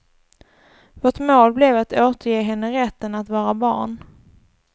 Vårt mål blev att återge henne rätten att vara barn.